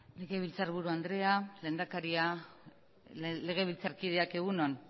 legebiltzarburu andrea lehendakaria legebiltzarkideak egun on